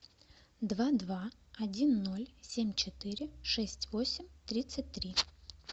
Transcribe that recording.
два два один ноль семь четыре шесть восемь тридцать три